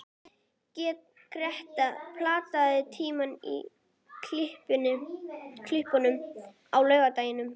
Greta, pantaðu tíma í klippingu á laugardaginn.